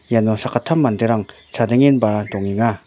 iano sakgittam manderang chadengenba dongenga.